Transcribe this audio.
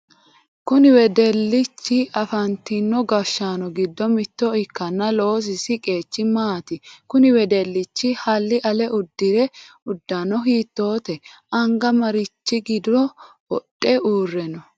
Kunni wedelichi afantino gashaano gido mitto ikkanna loosisi qeechi maati? Kunni wodelichi Hali ale udiro udano hiittooho? Anga marichi gido wodhe uureno no?